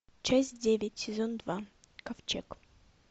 часть девять сезон два ковчег